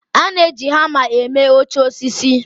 A na-eji hama eme oche osisi.